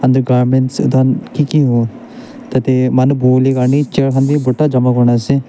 Etu garments etu khan kiki hovo tatey manu buhuivole karney chair khan bhi bhorta jama kurna ase.